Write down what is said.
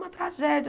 Uma tragédia!